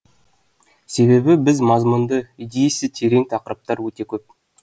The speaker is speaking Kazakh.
себебі біз мазмұнды идеясы терең тақырыптар өте көп